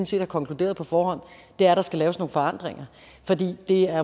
set har konkluderet på forhånd er at der skal laves nogle forandringer for det er